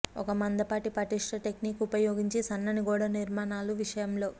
ఒక మందపాటి పటిష్ట టెక్నిక్ ఉపయోగించి సన్నని గోడ నిర్మాణాలు విషయంలో